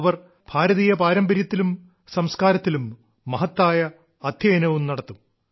അവർ ഭാരതീയ പാരമ്പര്യത്തിലും സംസ്കാരത്തിലും മഹത്തായ അദ്ധ്യയനവും നടത്തും